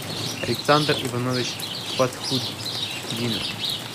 александр иванович фатхудинов